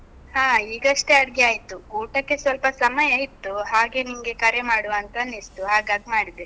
ಹಾ, ಈಗಷ್ಟೆ ಅಡ್ಗೆ ಆಯ್ತು. ಊಟಕ್ಕೆ ಸ್ವಲ್ಪ ಸಮಯ ಇತ್ತು, ಹಾಗೆ ನಿಂಗೆ ಕರೆ ಮಾಡುವ ಅಂತ ಅನಿಸ್ತು, ಹಾಗಾಗ್ ಮಾಡಿದೆ.